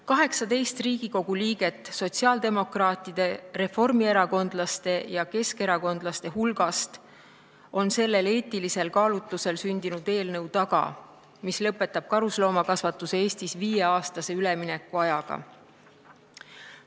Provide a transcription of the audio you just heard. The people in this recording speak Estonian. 18 Riigikogu liiget sotsiaaldemokraatide, reformierakondlaste ja keskerakondlaste hulgast on selle eetilisel kaalutlusel sündinud eelnõu taga, mis lõpetab karusloomakasvatuse Eestis viieaastase üleminekuajaga.